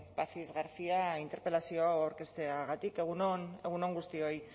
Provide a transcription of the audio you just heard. pazis garcia interpelazio hau aurkezteagatik egun on egun on guztioi